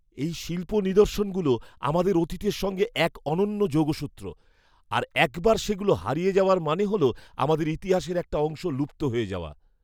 এই শিল্প নিদর্শনগুলো আমাদের অতীতের সঙ্গে এক অনন্য যোগসূত্র, আর একবার সেগুলো হারিয়ে যাওয়ার মানে হল আমাদের ইতিহাসের একটা অংশ লুপ্ত হয়ে যাওয়া।